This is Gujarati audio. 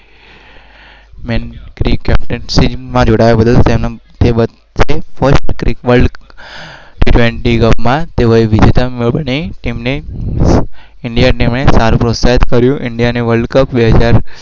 કેપ્ટનશીપમાં જોડાય